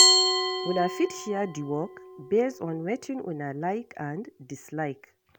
Una fit share di work based on wetin una like and dislike